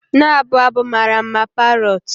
Na-abụ abụ mara mma, parrot.